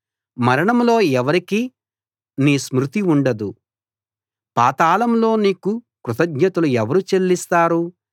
మరణంలో ఎవరికీ నీ స్మృతి ఉండదు పాతాళంలో నీకు కృతజ్ఞతలు ఎవరు చెల్లిస్తారు